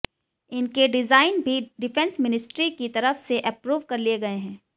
इनके डिजाइन भी defence ministry की तरफ से एप्रूव कर लिए गए हैं